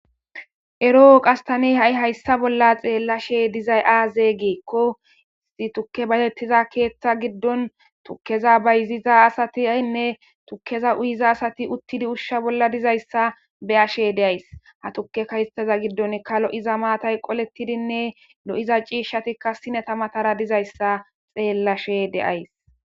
Eroo qas thani ha7i hayssa bolla xeellashee dizay aazee giikko izi thukke bayzeththida keeththa giddon thukkeza bayzziza asathinne thukkeza uyiza asathi uththidi ushsha bolla dizayssa be7ashee de7ays; ha thukkeka hayssaza giddonikka lo7iza maathay qoleththidinne lo7iza ciishshathikka sinetha mathara dizayssa xeellashee de7ays.